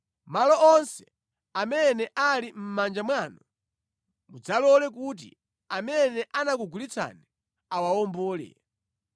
Malo onse amene ali mʼmanja mwanu mudzalole kuti amene anakugulitsani awawombole.